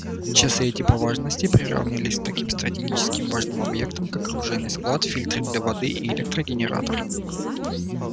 часы эти по важности приравнивались к таким стратегически важным объектам как оружейный склад фильтры для воды и электрогенератор